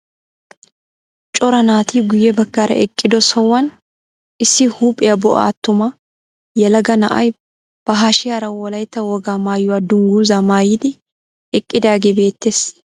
Cora naati guye baggaara eqqido sohuwaan issi huuphphiyaa bo'a attuma yelaga na'ay ba hashiyaara wolaytta wogaa maayuwaa dungguzaa maayidi eqqidaagee beettees.